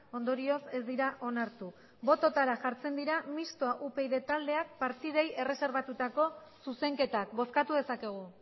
ondorioz ez dira onartu bototara jartzen dira mistoa upyd taldeak partidei erreserbatutako zuzenketak bozkatu dezakegu